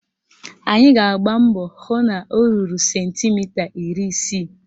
Anyị ga-agba mbọ hụ na o ruru sentimita iri isii